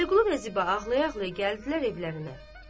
Vəliqulu və Ziba ağlaya-ağlaya gəldilər evlərinə.